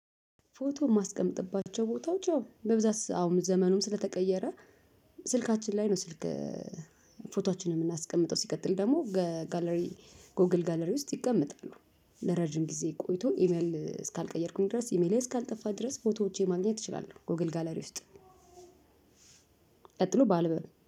ፎቶ የማስቀምጥባቸው ቦታዎች ያው በብዛት አሁን ዘመኑም ስለተቀየረ ስልካችን ላይ ነው። ስልክ ፎቶአችንን የምናስቀምጠው ሲቀጥል ደግሞ ጋለሪ ጎግል ጋለሪ ውስጥ ይቀመጣሉ። ለረጅም ጊዜ ቆይቶ ኢሜል እስካልቀየርኩኝ ድረስ ኢሜል እስካልጠፋ ድረስ ፎቶዎቼ ማግኘት እችላለሁ። ጎግል ጋለሪ ውስጥ ቀጥሎ ባል